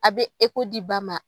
A bɛ di ba ma.